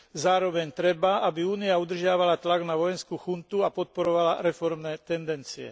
Zároveň treba, aby Únia udržiavala tlak na vojenskú chuntu a podporovala reformné tendencie.